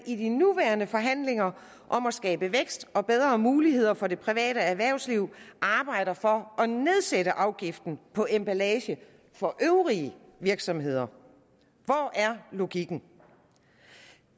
i de nuværende forhandlinger om at skabe vækst og bedre muligheder for det private erhvervsliv arbejder for at nedsætte afgiften på emballage for øvrige virksomheder hvor er logikken